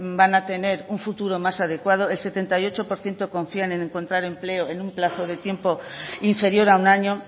van a tener un futuro más adecuado el setenta y ocho por ciento confía en encontrar empleo en un plazo de tiempo inferior a un año